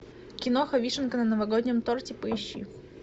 киноха вишенка на новогоднем торте поищи